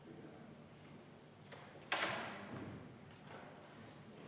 Palun võtta seisukoht ja hääletada!